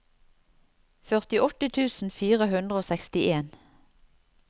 førtiåtte tusen fire hundre og sekstien